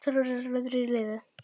Sex hermenn létu lífið